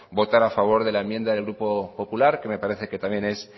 votar a favor de la enmienda del grupo popular que me parece que también es